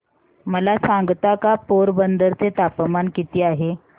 मला सांगता का पोरबंदर चे तापमान किती आहे